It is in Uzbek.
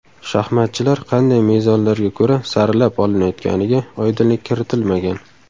Shahmatchilar qanday mezonlarga ko‘ra saralab olinayotganiga oydinlik kiritilmagan.